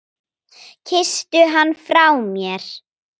Kysstu hann frá mér.